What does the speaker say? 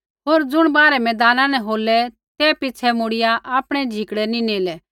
होर ज़ुणा बाहरै मैदाना न होलै ते पिछ़ै मुड़िया आपणै झिकड़ै नी नेलै